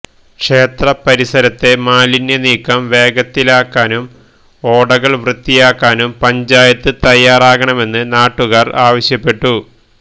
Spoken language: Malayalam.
ക്ഷേത്രപരിസരത്തെ മാലിന്യനീക്കം വേഗത്തിലാക്കാനും ഓടകള് വൃത്തിയാക്കാനും പഞ്ചായത്ത് തയ്യാറാകണമെന്ന് നാട്ടുകാര് ആവശ്യപ്പെട്ടു